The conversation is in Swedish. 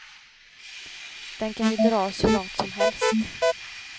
Den kan ju dras hur långt som helst.